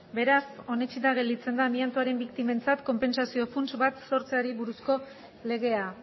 beraz onetsita gelditzen da amiantoren biktimentzat konpentsazio funts bat sortzeari buruzko legea